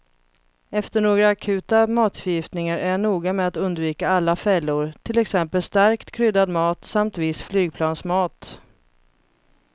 Efter några akuta matförgiftningar är jag noga med att undvika alla fällor, till exempel starkt kryddad mat samt viss flygplansmat.